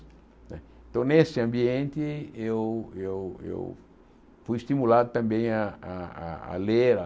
Então, nesse ambiente, eu eu eu fui estimulado também a a a ler a.